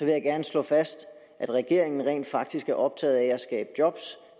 jeg gerne slå fast at regeringen rent faktisk er optaget af at skabe job